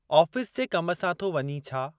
Office जे कम सां थो वञीं, छा ?